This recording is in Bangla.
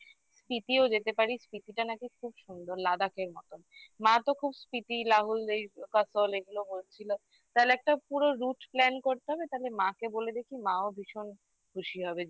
Spiti ও যেতে পারি Spiti টা নাকি খুব সুন্দর Ladakh মত মা তো খুব স্মৃতি রাহুল এগুলো করছিল তাহলে একটা পুরো root plan করতে হবে তাহলে মাকে বলে দেখি মাও ভীষণ খুশি হবে